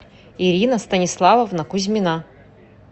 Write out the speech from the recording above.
ирина станиславовна кузьмина